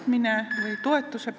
Palun lisaaega!